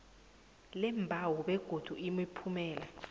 leembawo begodu imiphumela